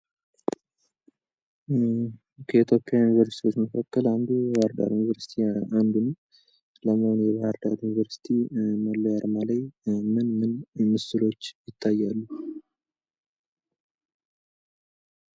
ከኢትዮጵያ ዩኒቨርስቲዎች መካከል አንዱ የባህር ዳር ዩኒቨርሲቲ አንዱ ነው። ለመሆኑ የባህር ዳር ዩኒቨርስቲ መለያ አርማ ላይ ምንምን ምስሎች ይታያሉ?